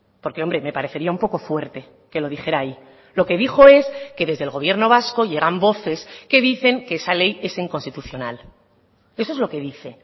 porque hombre me parecería un poco fuerte que lo dijera ahí lo que dijo es que desde el gobierno vasco llegan voces que dicen que esa ley es inconstitucional eso es lo que dice